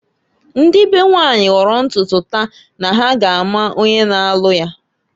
Ndị be nwanyị hooro ntutu taa na ha ga ama onye na-alụ ya.